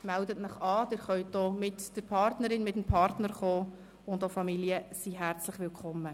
Melden Sie sich an, Sie können auch mit Partnerin/Partner kommen, und auch Familien sind herzlich willkommen.